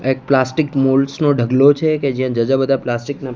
એક પ્લાસ્ટિક નો ઢકલો છે કે જ્યાં જાજા બધા પ્લાસ્ટિક ના--